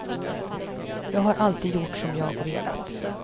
Jag har alltid gjort som jag velat.